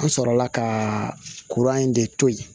An sɔrɔla ka in de to yen